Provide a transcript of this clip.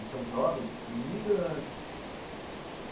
E são jovens imigrantes.